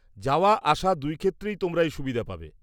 -যাওয়া আসা দুই ক্ষেত্রেই তোমরা এই সুবিধা পাবে।